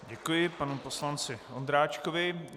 Děkuji panu poslanci Ondráčkovi.